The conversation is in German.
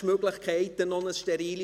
ich sage jetzt nicht, wer es war.